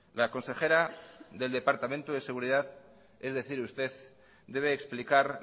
la consejera del departamento de seguridad es decir usted debe explicar